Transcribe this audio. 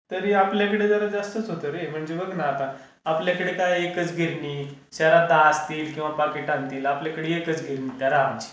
तरी आपल्याकडे जरा जास्तच होता रे म्हणजे बघ ना आता. आपल्याकडे काय एकच गिरणी, शहरात दहा असतील किंवा पाकीट आणतील आपल्याकडे एकच गिरणी त्या राम ची.